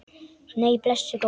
Nei, blessuð góða.